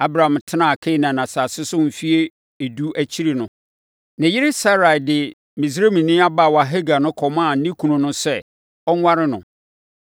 Abram tenaa Kanaan asase so mfeɛ edu akyiri no, ne yere Sarai de Misraimni abaawa Hagar no kɔmaa ne kunu no sɛ, ɔnware no.